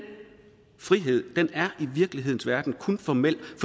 frihed er i virkelighedens verden kun formel